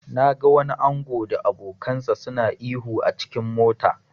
Na ga wani ango da abokansa suna ihu s cikin mota.